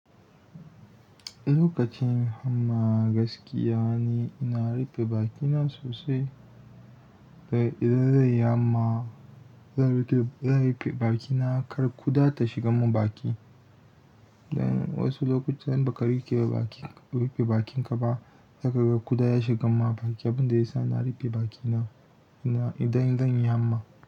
Lokacin amma gaskiya ne ina rufe bakina sosai. Da idan zan yi hamma zan rufe bakina kar ƙuda ta shiga mun baki. Dan wasu lokuta idan ba ka rufe bakinka ba, zaka ga ƙuda ya shiga ma baki, abin da yasa ina rufe bakina idan zan yi hamma.